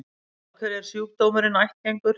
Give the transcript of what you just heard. Og af hverju er sjúkdómurinn ættgengur?